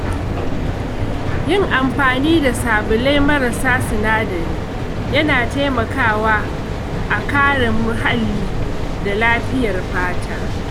Yin amfani da sabulai marasa sinadari yana taimakawa a kare muhalli da lafiyar fata.